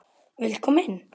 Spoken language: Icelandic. Viltu koma inn?